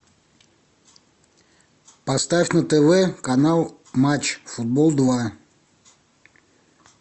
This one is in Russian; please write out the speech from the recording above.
поставь на тв канал матч футбол два